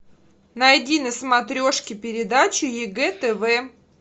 найди на смотрешке передачу егэ тв